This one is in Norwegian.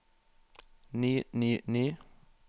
ny ny ny